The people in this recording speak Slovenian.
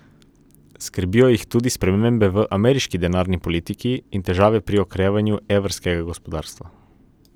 Skrbijo jih tudi spremembe v ameriški denarni politiki in težave pri okrevanju evrskega gospodarstva.